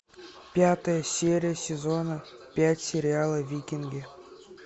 пятая серия сезона пять сериала викинги